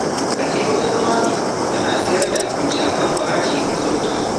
Ka je wajen Mami tana sayar da abinci a kan farashi mai sauƙi